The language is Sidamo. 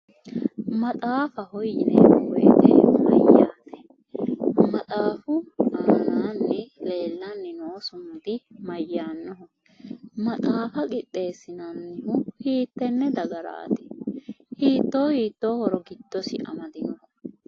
Maxaafaho yineemmo woyite mayyaate? Maxaafu anaanni leellanni noo sumudi mayyaanno? Maxaafa qixeessinannihu hiitee dagaraati hiittoo hiittoo horo giddosi amadino?